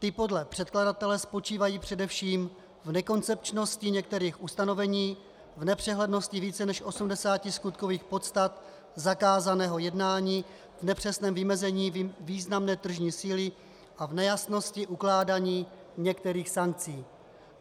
Ty podle předkladatele spočívají především v nekoncepčnosti některých ustanovení, v nepřehlednosti více než 80 skutkových podstat zakázaného jednání, v nepřesném vymezení významné tržní síly a v nejasnosti ukládání některých sankcí.